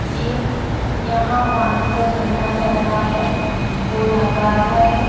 ये यहाँ पानी का झरना बह रहा है गोल आकार का है।